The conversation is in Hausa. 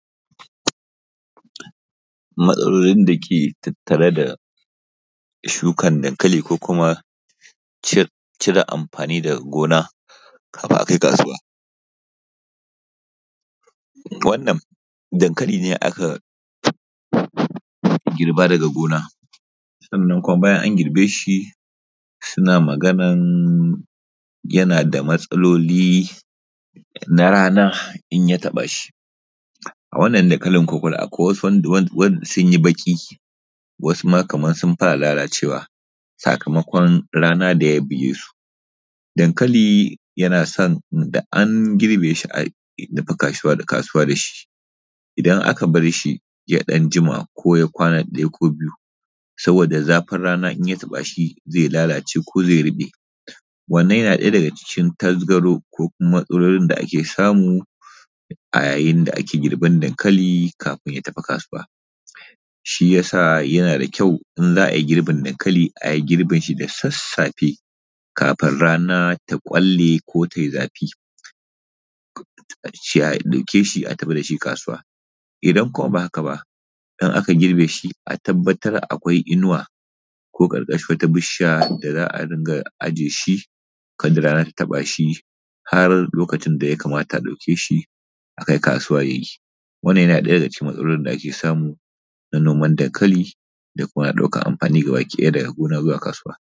Matsalolin dake tattare da shukar dankali ko kuma cire amfanin daga gona kadin a kai kasuwa. Wannan danakli ne aka girba daga gina, bayan an girbe shi suna maganar yana da matsaloli na rana in ya taɓa shi. A wannan dankalin wsu sun yi baƙi sakamakon rana da ya buge su. Dankali yana so da an girbe shi a tafi kasuwa da shi, idan aka bar shi ya ɗan jima ko ya kwana huɗu ko biyu saboda zafin rana idan ya taɓa shi zai lalace ko zai riɓe. Wannan yana ɗaya daga cikin tasgaro ko matsalolin da ake samu a yayin da ake girban dankali kafi a kai kasuwa. Shi ya sa yana da da ƙyau idan za a yi girbin dankali a yi shi da sassafe kafin rana ta ƙwalle ko ta yi zafi. A ce a dauke shi a tafi da shi kasuwa .idan kuma ba haka ba idan aaka girbe shi a nemi inuwa ko karkashin wata bishiya da za a riƙa ajiye da har lokacin da ya kamata a ɗauke shi a akai kasuwa. Wannan yana ɗaya daga cikin matsalar da ke samu na noman dankali da kuma na ɗaukar amfani dag gona zuwa kasuwa.